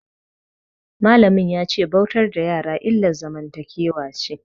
Malamin ya ce bautar da yara illar zamantakewa ce.